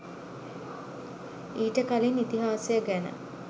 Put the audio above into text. ඊට කලින් ඉතිහාසය ගැන